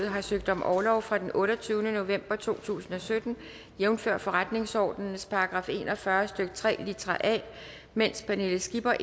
har søgt om orlov fra den otteogtyvende november to tusind og sytten jævnfør forretningsordenens § en og fyrre stykke tre litra a medens pernille skipper